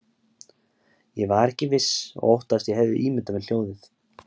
Ég var ekki viss og óttaðist að ég hefði ímyndað mér hljóðið.